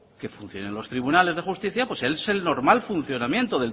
que funcionen los tribunales de justicia pues es el normal funcionamiento